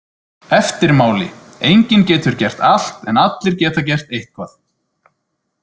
Eftirmáli Enginn getur gert allt en allir geta gert eitthvað